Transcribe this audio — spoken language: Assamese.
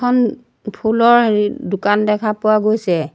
উম ফুলৰ হেৰি দোকান দেখা পোৱা গৈছে।